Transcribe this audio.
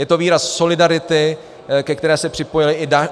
Je to výraz solidarity, ke které se připojily i další...